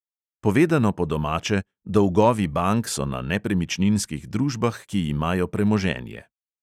Povedano po domače, dolgovi bank so na nepremičninskih družbah, ki imajo premoženje.